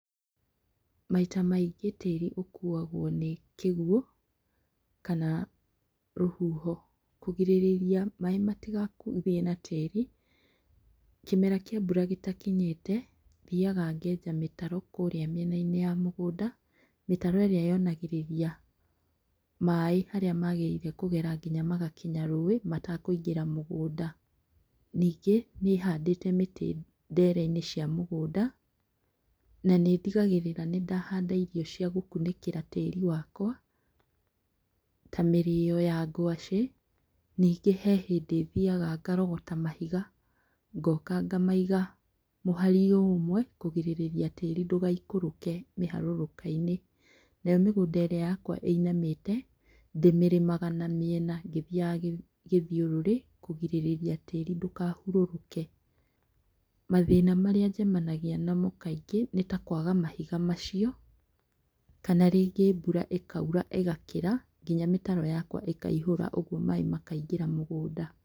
Maita maingĩ tĩri ũkuagwo nĩ kĩguũ kana rũhuho. Kũgirĩrĩria maaĩ matigathiĩ na tĩri kĩmera kĩa mbura gĩtakinyĩte thiaga ngeja mĩtaro mĩenainĩ ya mũgũnda, mĩtaro ĩrĩa yonanagĩrĩrĩa maaĩ harĩa makũgera nginya magakinya rũĩ matakũingĩra mũgũnda. Ningĩ nĩhandĩte mĩtĩ ndereinĩ cia mũgũnda na nĩ ndigagĩrĩra nĩndahanda irio cia gũkunĩkĩra tĩri wakwa ta mĩrĩyo ya ngwacĩ ningĩ he hĩndĩ thiaga ngarogota mahiga ngoka ngamaiga mũharinĩ ũmwe kũgirĩrĩria tĩri ndũgaikũrũke miharũrũkainĩ. Nayo mĩgũnda yakwa ĩrĩa ĩinamĩte ndĩmĩrĩmaga na mĩena ngĩthiaga gĩthiũrũre kũgirĩrĩria tĩri ndukahurũrũke. Mathĩna maria njemanagia namo kaingĩ nĩtakwaga mahiga macio, kana rĩngĩ mbura ĩkaura ĩgakĩra nginya mĩtaro yakwa ĩkaihũra ũguo maaĩ makaingĩra mũgũnda.